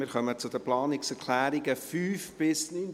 Wir kommen zu den Planungserklärungen 5 bis 9.